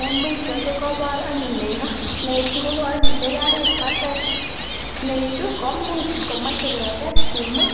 En pichait ko kobor anyun nekoo, nechu ko kokinde karit batai, nechu komuch komoche keket kimut